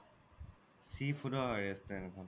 sea food ৰ restaurant খন